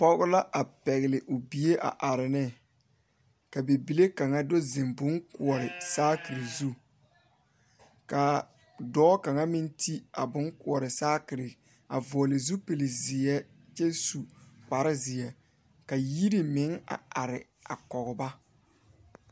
Pɔge la a pɛgle o bie a are ne ka bibile kaŋa do zeŋ bonkoɔre saakere zu ka dɔɔ kaŋ meŋ ti a bonkoɔre saakere a vɔgle zupilizeɛ kyɛ su kparezeɛ ka yiri meŋ a are a kɔge ba.